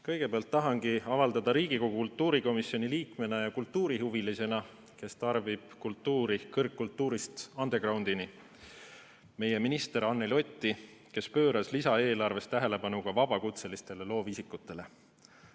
Kõigepealt tahan Riigikogu kultuurikomisjoni liikmena ja kultuurihuvilisena, kes tarbib kultuuri kõrgkultuurist underground'ini, tänada meie minister Anneli Otti, kes pööras lisaeelarves tähelepanu ka vabakutselistele loovisikutele.